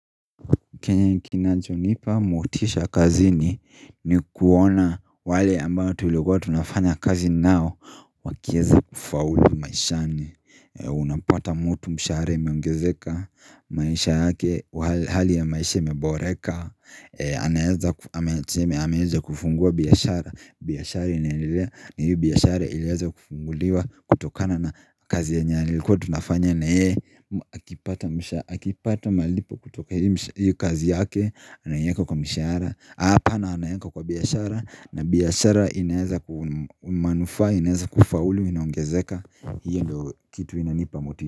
Kenye kinachonipa motisha kazini ni kuona wale ambayo tuliokuwa tunafanya kazi nao Wakieza kufaulu maishani Unapata mutu mshahara imeongezeka maisha yake hali ya maisha imeboreka ameeza kufungua biashara, biashara iliheza kufunguliwa kutokana na kazi yenye ilikuwa tunafanya na ye akipata malipo kutoka hii kazi yake anaeka kwa mishahara, hapana anaweka kwa biashara na biashara inaeza kumanufaa inaeza kufaulu inaongezeka hiyo ndo kitu inanipa moti.